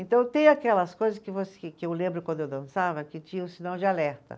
Então, tem aquelas coisas que você, que eu lembro quando eu dançava que tinham sinal de alerta.